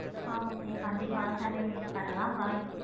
ஆஹ் ok கண்டிப்பா sunday meet பண்ணலாம் bye